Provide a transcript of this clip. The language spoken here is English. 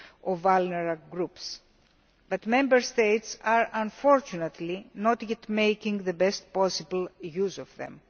of vulnerable groups, but Member States are unfortunately not yet making the best possible use of them.